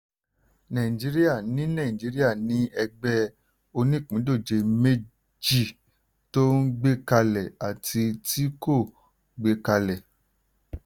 nàìjíríà ní nàìjíríà ní ẹgbẹ̀ onípìndòjé méjì: tó ń gbé kalẹ̀ àti tí kò gbé kalẹ̀.